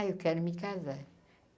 Ah, eu quero me casar.